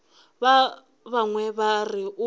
ba bangwe ba re o